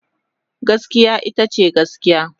Gaskiya ita ce gaskiya.